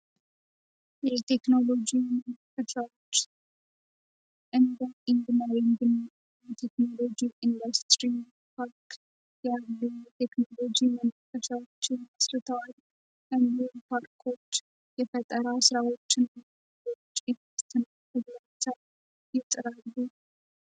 የቴክኖሎጂ ምከቻዎች እን ንግን የቴክኖሎጂ ኢንዱስትሪ ፓርክ ያሉ የቴክኖሎጂ የመንከሻዎች የመስርታዋል እንድን ፓርክች የፈጠራ ሥራዎችን ጭ ስትንቻ ይጥራሉ፡፡